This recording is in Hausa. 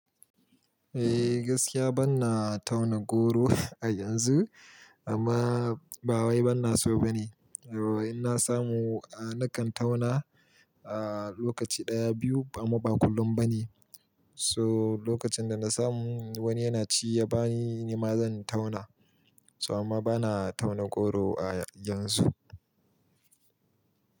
Eh gaskiya bana tauna goro a yanzu amma ba wai bana so ba ne. In na samu, a nakan tauna a lokaci ɗaya biyu amma ba kullum ba ne. So lokacin da na samu wani yana ci ya bani ni ma zan tauna. So amma bana tauna goro a yanzu.